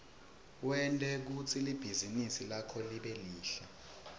wente kutsi libhizinisi lakho libe lihle